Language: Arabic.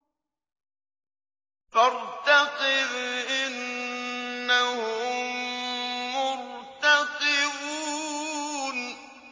فَارْتَقِبْ إِنَّهُم مُّرْتَقِبُونَ